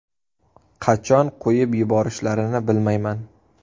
Qachon qo‘yib yuborishlarini bilmayman.